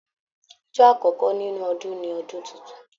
Ọjọ́ àkọkọ nínú Ọdún ní ọdún títún.